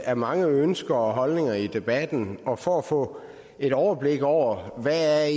er mange ønsker og holdninger i debatten og for at få et overblik over hvad